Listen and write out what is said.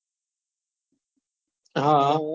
હા